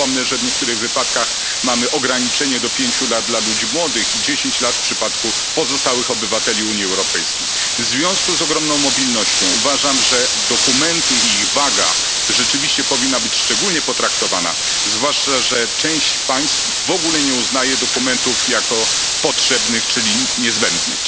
Przypomnę, że w niektórych wypadkach mamy ograniczenie do 5 lat dla ludzi młodych i 10 lat w przypadku pozostałych obywateli Unii Europejskiej. W związku z ogromną mobilnością uważam, że dokumenty i ich waga rzeczywiście powinna być szczególnie potraktowane zwłaszcza, że część państw w ogóle nie uznaje dokumentów jako potrzebnych, czyli niezbędnych.